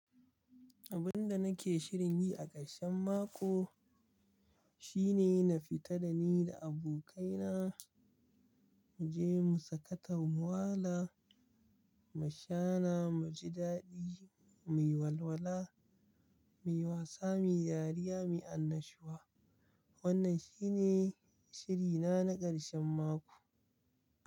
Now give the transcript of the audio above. Abinda nake shirin yi a ƙarshen mako shine na fita dani da abokaina muje mu sakata mu wala, mu shana, muji daɗi, muyi walwala, muyi wasa, muyi dariya, muyi annashuwa. Wannan shine shirina na ƙarshen mako.